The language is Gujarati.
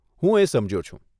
હું એ સમજ્યો છું.